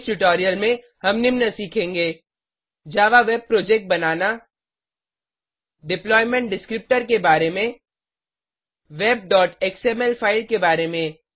इस ट्यूटोरियल में हम निम्न सीखेंगे जावा वेब प्रोजेक्ट बनाना डिप्लॉयमेंट डिस्क्रिप्टर के बारे में webएक्सएमएल फाइल के बारे में